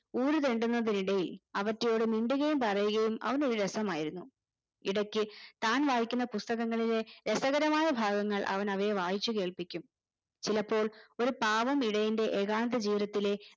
ഊരുതെണ്ടുന്നതിനിടയിൽ അവറ്റയോട് മിണ്ടുകയും പറയുകയും അവനൊരു രസമായിരുന്നു ഇടക്ക് താൻ വായിക്കുന്ന പുസ്തകങ്ങളിലെ രസകരമായ ഭാഗങ്ങൾ അവൻ അവയെ വായിച്ച് കേൾപ്പിക്കും ചിലപ്പോൾ ഒരു പാവം ഇടയന്റെ ഏകാന്ത ജീവിതത്തിലെ